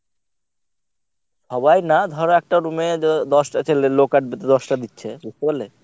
সবাই না ধর একটা room এ দ~ দশটা ছেলে লোক আটবে তো দশটা দিচ্ছে বুঝতে পারলে?